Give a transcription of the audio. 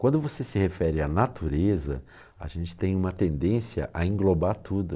Quando você se refere à natureza, a gente tem uma tendência a englobar tudo.